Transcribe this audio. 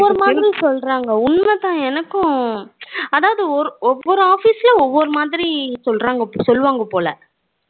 ஒவ்வொரு மாதிரி சொல்லுறாங்க உண்மதான் எனக்கும் அதாவது ஒவ்வொரு office லயும் ஒவ்வொரு மாதிரி சொல்லுறாங்க சொல்லுவாங்க போல